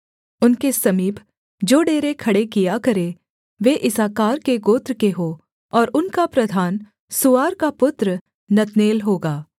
उनके समीप जो डेरे खड़े किया करें वे इस्साकार के गोत्र के हों और उनका प्रधान सूआर का पुत्र नतनेल होगा